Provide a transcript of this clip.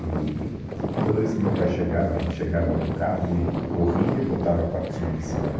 Eee toda vez que o meu pai chegava, a gente chegava com o carro, ele corria, botava a patinha em cima da...